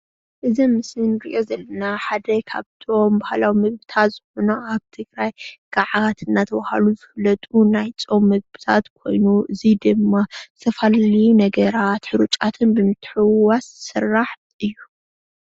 እዚ ኣብ ምሰሊ እንሪኦ ዘለና ሓደ ካብቶም በህላዊ ምግብታት ዝኮነ ኣብ ትግራይ ጋዓት እናተባሃሉ ዝፍለጡ ናይ ፆም ምግብታት ኮይኑ እዚ ድማ ዝተፈላለዩ ነገራት ሕሩጫትን ብምትሕውዋስ ዝስራሕ እዩ፡፡